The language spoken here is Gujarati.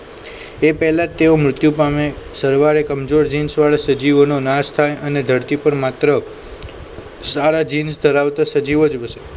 એ પહેલા તેઓ મૃત્યુ પામે સરવારે કમજોર જીન્સ વાળા સજીવોનો નાશ થાય અને ધરતી પર માત્ર સારા જીન્સ ધરાવતા સજીવો જ વસે